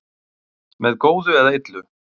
með góðu eða illu